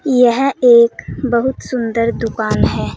यह एक बहुत सुंदर दुकान है।